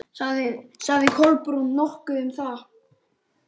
Sagði Kolbrún nokkuð um það?